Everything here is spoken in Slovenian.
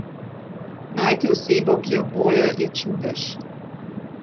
Najti osebo, ki je oboje, je čudež.